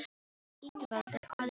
Ingivaldur, hvað er jörðin stór?